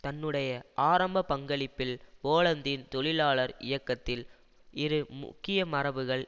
தன்னுடைய ஆரம்ப பங்களிப்பில் போலந்தின் தொழிலாளர் இயக்கத்தில் இரு முக்கிய மரபுகள்